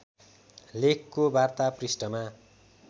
लेखको वार्ता पृष्ठमा